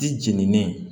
Di jenini